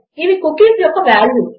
ఇవి కుకీస్ యొక్క వాల్యూస్